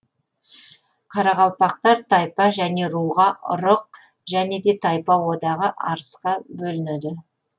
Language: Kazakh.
қарақалпақтар тайпа және руға ұрық және де тайпа одағы арысқа бөлінеді